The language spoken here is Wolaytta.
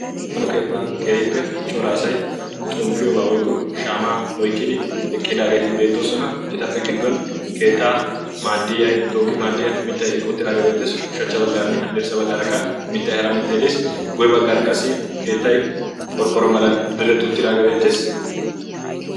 aano keettan keehiippe coraasai xomppiyoobaa woikko shaamaa oikkidi eqqidaageeti beettoosona etappe giddwan keettaa maaddiya tooki maaddiyaa mittai eqqouttiraageebeettees ushachcha baggaaranne haddirssa baggaarakka mittai hara mittai deis goi baggaara qasi keettai qorqqoro malan diretti uttiraagee beettees